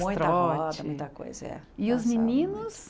Muita roda, muita coisa, é. E os meninos...